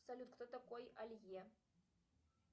салют кто такой алье